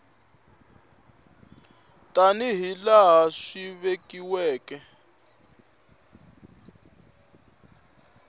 tani hi laha swi vekiweke